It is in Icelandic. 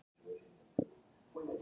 Við hvað langar þig að starfa?